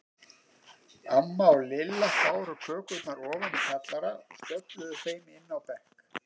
Amma og Lilla báru kökurnar ofan í kjallara og stöfluðu þeim inn á bekk.